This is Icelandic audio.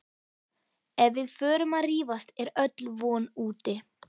Ef við förum að rífast er öll von úti